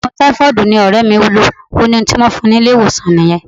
Ogun taifoodi ni ore mi n lo, o ni ohun ti won fun ni ile-iwosan niyen.